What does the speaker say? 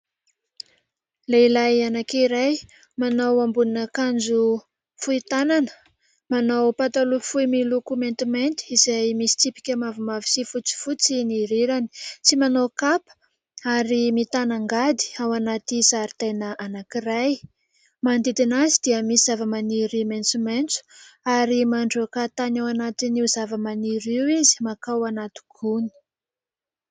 Lehilahy anankiray manao ambonin'akanjo fohy tanana, manao pataloha fohy miloko maintimainty izay misy tsipika mavomavo sy fotsifotsy ny rirany, tsy manao kapa ary mitana angady ao anaty zaridaina anankiray, manodidina azy dia misy zava-maniry maitsomaitso ary mandroaka tany ao anatin'io zava-maniry io izy mankao anaty gony.